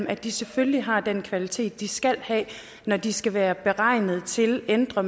at de selvfølgelig har den kvalitet de skal have når de skal være beregnet til ældre